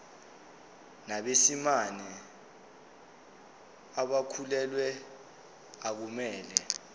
nabesimame abakhulelwe akumele